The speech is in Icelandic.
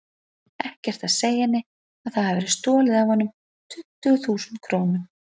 Ekkert að segja henni að það hafi verið stolið af honum tuttugu þúsund krónum.